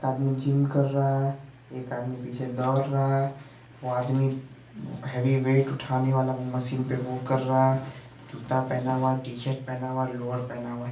एक आदमी जिम कर रहा है एक आदमी पीछे दौर रहा है वो आदमी हैवी वेट उठाने वाला वो मशीन पे वो कर रहा है जूता पहना हुआ टी शर्ट पहना हुआ लोअर पहना हुआ।